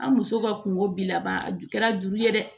An muso ka kungo bi laban a ju kɛra juru ye dɛ